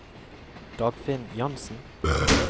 Dagfinn Jansen